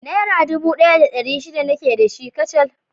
Naira dubu ɗaya da ɗari shida nake da shi kacal